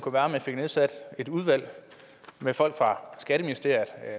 at man fik nedsat et udvalg med folk fra skatteministeriet